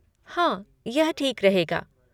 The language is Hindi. हाँ, यह ठीक रहेगा।